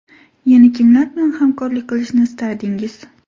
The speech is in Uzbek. Yana kimlar bilan hamkorlik qilishni istardingiz?